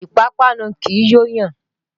Ìpápánu kì í yó yàn.